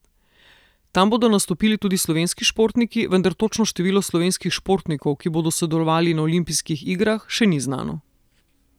Tam bodo nastopili tudi slovenski športniki, vendar točno število slovenskih športnikov, ki bodo sodelovali na olimpijskih igrah, še ni znano.